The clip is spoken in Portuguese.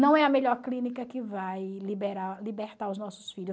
Não é a melhor clínica que vai liberar libertar os nossos filhos.